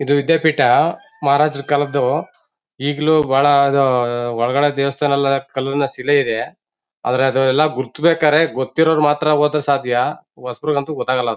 ಇದು ವಿದ್ಯಾಪೀಠ ಮಹಾರಾಜರ ಕಾಲದ್ದು ಈಗ್ಲೂ ಬಹಳ ಇದು ಉ ಒಳಗಡೆ ದೇವಸ್ಥಾನ ಎಲ್ಲ ಕಲ್ಲಿನ ಶಿಲೆ ಇದೆ ಆದರೆ ಅದು ಎಲ್ಲಾ ಗುರುತು ಬೇಕಾದ್ರೆ ಗೊತ್ತಿರೋರು ಮಾತ್ರ ಹೋದ್ರೆ ಸಾಧ್ಯ ಹೊಸಬರಿಗಂತೂ ಗೊತ್ತಾಗಲ್ಲ ಅದು.